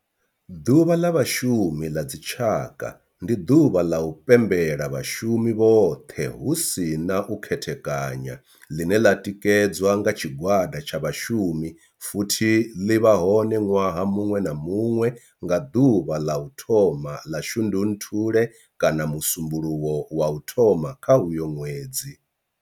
Ḓuvha ḽa Vhashumi ḽa dzi tshaka, ndi duvha ḽa u pembela vhashumi vhothe hu si na u khethekanya ḽine ḽi tikedzwa nga tshigwada tsha vhashumi futhi ḽi vha hone nwaha munwe na munwe nga duvha ḽa u thoma 1 ḽa Shundunthule kana musumbulowo wa u thoma kha uyo nwedzi.